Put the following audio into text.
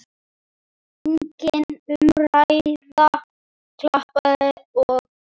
Engin umræða, klappað og klárt.